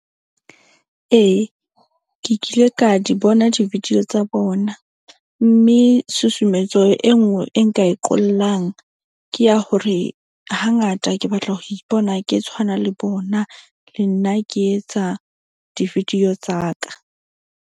Ee, ke kile ka di bona di-video tsa bona. Mme tshusumetso e nngwe e nka e qollang, ke ya hore hangata ke batla ho ipona ke tshwana le bona le nna ke etsa di-video tsa ka.